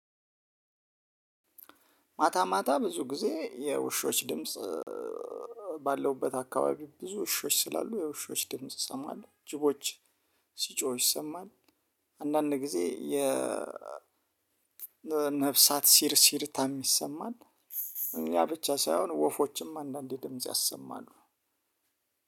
ማታ ማታ ብዙ ጊዜ የውሾች ድምጽ ባለውበት አካባቢ ብዙ ውሾች ስላሉ የውሾች ድምጽ ሰማለሁ ጅቦች ሲጮህ ይሰማል። አንዳንድ ጊዜ የ ነፍሳት ሲር ሲርታ ይሰማል። እኛ ብቻ ሳይሆን ወፎችም አንዳንዴ ድምጽ ያሰማሉ።